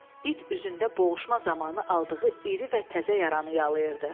İt üzündə boğuşma zamanı aldığı iri və təzə yaranı yalıyırdı.